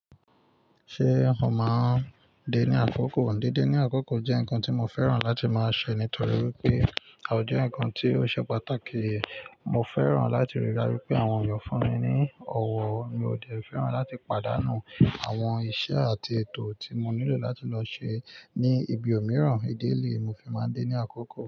Ṣé ò máa ń dé ní àkókò? Dídé ní àkókò jẹ́ nǹkan tí mo fẹ́ràn láti máa ṣe nítorí wípé a ò jẹ́ nǹkan tí ó ṣe pàtàkì. Mo fẹ́ràn láti rí i dá ju pé àwọn èèyàn fún mi ní ọwọ́ọ. Mi ò de fẹ́ràn láti pàdánù àwọn iṣẹ́ àti ètò tí mo nílò láti lọ ṣe ní ibi òmíràn. Ìdi elẹ̀i mo fi máa ń dé ní àkókò.